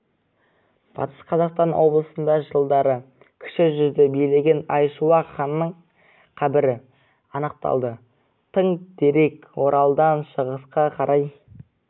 батыс қазақстан облысында жылдары кіші жүзді билеген айшуақ ханның қабірі анықталды тың дерек оралдан шығысқа қарай